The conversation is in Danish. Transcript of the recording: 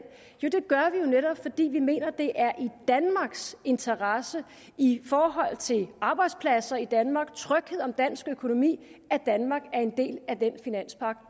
det gør vi jo netop fordi vi mener at det er i danmarks interesse i forhold til arbejdspladser i danmark tryghed om dansk økonomi at danmark er en del af den finanspagt